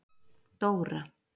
Dóra